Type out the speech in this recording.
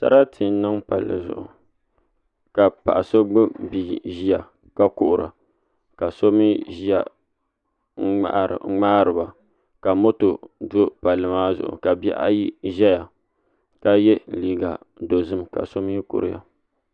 Sarati n niŋ palli zuɣu ka paɣa so gbubi bia ʒiya ka kuhura ka so mii ʒɛya n ŋmaariba ka moto do palli maa zuɣu ka bihi ayi ʒɛya ka yɛ liiga dozim ka so mii kuriya